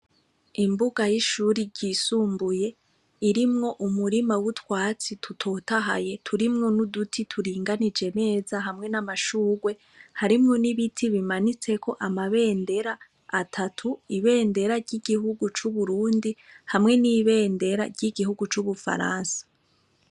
Imbuga y'ishuri ryisumbuye irimwo umurima w'utwatsi tutotahaye turimwo n'uduti turinganije meza hamwe n'amashurwe harimwo n'ibiti bimanitseko amabendera atatu ibendera ry'igihugu c'uburundi hamwe n'ibendera ry'igihugu c'ubufaransa.